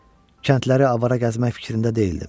Kəndləri avara gəzmək fikrində deyildim.